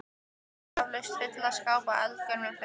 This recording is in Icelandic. Hún átti eflaust fulla skápa af eldgömlum fötum.